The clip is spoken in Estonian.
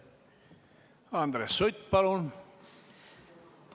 Andres Sutt, palun!